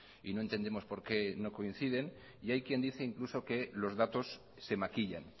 y no entendemos por qué no coinciden y hay quien dice incluso que los datos se maquillan